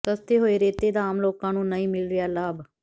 ਸਸਤੇ ਹੋਏ ਰੇਤੇ ਦਾ ਆਮ ਲੋਕਾਂ ਨੂੰ ਨਹੀਂ ਮਿਲ ਰਿਹਾ ਲਾਭ